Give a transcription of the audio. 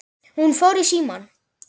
Hún fór í símann.